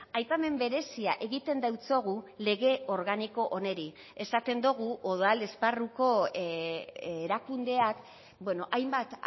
aipamen berezia egiten diogu lege organiko honi esaten dugu udal esparruko erakundeak hainbat